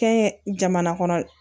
Kɛ n ye jamana kɔnɔ